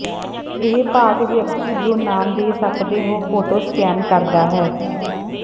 ਇਹ ਭਾਗ ਵਿਅਕਤੀ ਜੋ ਨਾਮ ਦੇ ਸਕਦੇ ਹੋ ਫੋਟੋ ਸਕੈਨ ਕਰਦਾ ਹੈ